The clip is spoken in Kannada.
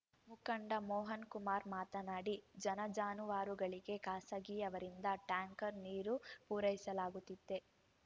ಮುಖಂಡ ಮೋಹನ್‌ಕುಮಾರ್‌ ಮಾತನಾಡಿ ಜನ ಜಾನುವಾರುಗಳಿಗೆ ಖಾಸಗಿಯವರಿಂದ ಟ್ಯಾಂಕರ್‌ ನೀರು ಪೂರೈಸಲಾಗುತ್ತಿದೆ